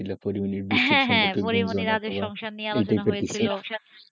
পরিমনির রাজু সংসার নিয়ে আলোচনা হচ্ছিল,